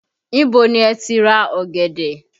Ibo ni ẹ ti ra ọ̀gẹ̀dẹ̀?